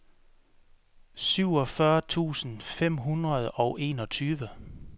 syvogfyrre tusind fem hundrede og enogtyve